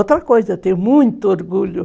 Outra coisa, tenho muito orgulho.